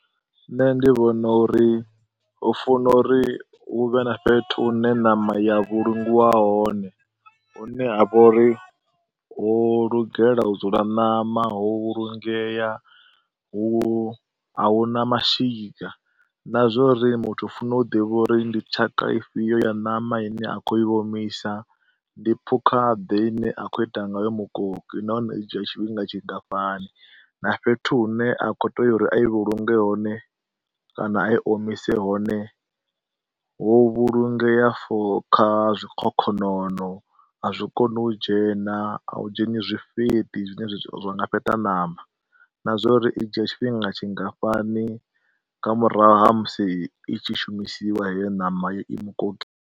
Nṋe ndi vhona uri hu funa uri hu vhe na fhethu hune ṋama ya vhulungiwa hone, hune ha vha uri ho lugela u dzula ṋama ho vhulungea, a huna mashika na zwa uri muthu u funa u ḓivha uri ndi tshaka ifhio ya ṋama ine a khou i omisa, ndi phukha ḓe ine a khou ita ngayo mukoki nahone i dzhia tshifhinga tshingafhani. Na fhethu hune a kho u tea uri a i vhulunge hone kana a i omise hone ho vhulungea for kha zwikhokhonono, a zwi koni u dzhena, a u dzheni zwifheti zwine zwa nga fheṱa ṋama na zwa uri i dzhia tshifhinga tshingafhani nga murahu ha musi i tshi shumisiwa heyo ṋama yo i mukoki?